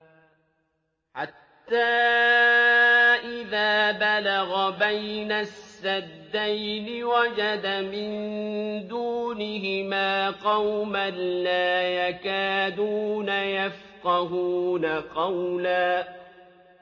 حَتَّىٰ إِذَا بَلَغَ بَيْنَ السَّدَّيْنِ وَجَدَ مِن دُونِهِمَا قَوْمًا لَّا يَكَادُونَ يَفْقَهُونَ قَوْلًا